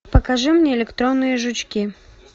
покажи мне электронные жучки